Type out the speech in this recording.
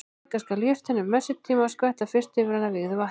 Taka skal jurtina um messutíma en skvetta fyrst yfir hana vígðu vatni.